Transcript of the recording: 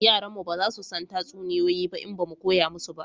Yaran mu ba za su san tatsuniyoyi ba in ba mu koya musu ba